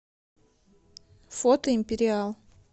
фото империал